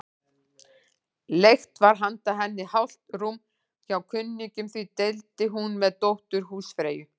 Leigt var handa henni hálft rúm hjá kunningjum, því deildi hún með dóttur húsfreyju.